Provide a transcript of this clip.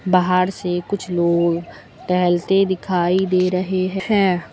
बाहर से कुछ लोग टहलते दिखाई दे रहे हैं।